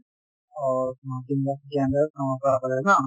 অ Guwahati university ৰ under ত Rangapara college ন?